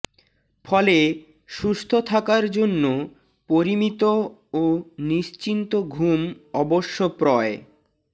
ফলে সুস্থ থাকার জন্য পরিমিত ও নিশ্চিন্ত ঘুম অবশ্য প্রয়